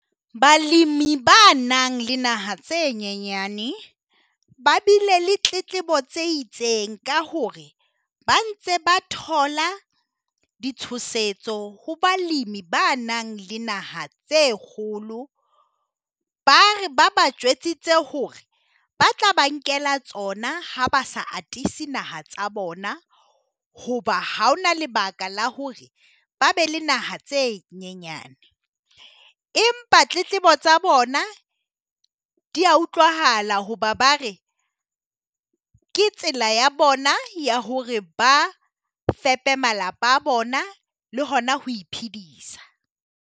Balemi ba nang le naha tse nyenyane ba bile le tletlebo tse itseng ka hore ba ntse ba thola di tshosetso ho balemi ba nang le naha tse kgolo, ba re ba ba jwetsitse hore ba tla ba nkela tsona ha ba sa atise naha tsa bona. Hoba haona lebaka la hore ba be le naha tse nyenyane, empa tletlebo tsa bona di ya utlwahala hoba ba re ke tsela ya bona ya hore ba fepe malapa a bona le hona ho iphedisa.